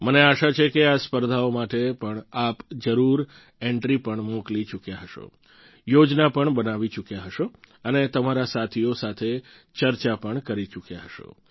મને આશા છે કે આ સ્પર્ધાઓ માટે પણ આપ જરૂર એન્ટ્રી પણ મોકલી ચૂક્યા હશો યોજના પણ બનાવી ચૂક્યા હશો અને તમારા સાથીઓ સાથે ચર્ચા પણ કરી ચૂક્યા હશો